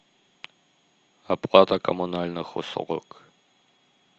оплата коммунальных услуг